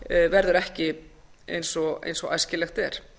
verður ekki eins og æskilegt er